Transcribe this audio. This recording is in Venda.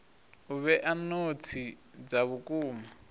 u vhea notsi dza vhukuma